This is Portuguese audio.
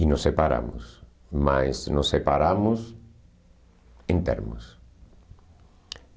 E nos separamos, mas nos separamos em termos.